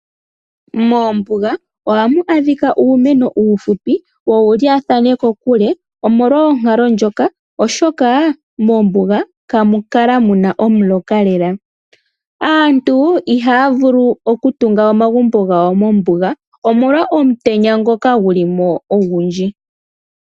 Moombuga ohamu adhika uumeno uufupi wo owu lyaathane kokule omolwa onkalo ndjoka oshoka moombuga ihamukala muna omuloka lele .Aantu ihaya vulu okutunga omagumbo gawo mombuga omolwa omutenya ngoka gulimo ogundji.